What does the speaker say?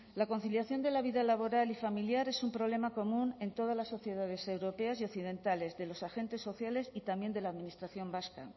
la conciliación de la vida laboral y familiar es un problema común en todas las sociedades europeas y occidentales de los agentes sociales y también de la administración vasca